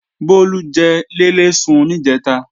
Bólú jẹ léléèsun níjẹ̀ta